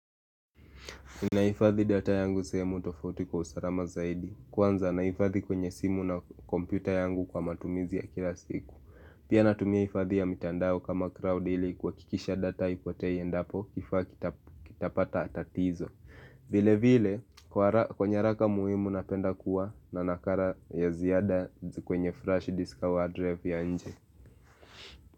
Nahifadhi data yangu sehemu tofauti kwa usalama zaidi Kwanza nahifadhi kwenye simu na kompyuta yangu kwa matumizi ya kila siku Pia natumia hifadhi ya mitandao kama crowd ili kuhakikisha data haipotei endapo kifaa kitapata tatizo vile vile kwenye nyaraka muhimu napenda kuwa na nakala ya ziada kwenye flash disk au hard drive ya nje.